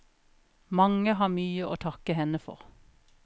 Mange har mye å takke henne for.